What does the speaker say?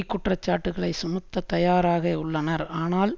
குற்றச்சாட்டுக்களை சுமத்தத்தயாராக உள்ளனர் ஆனால்